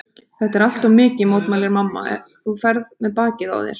Þetta er allt of mikið, mótmælir mamma, þú ferð með bakið á þér.